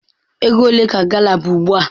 Ego ole ka gala bu ugbua?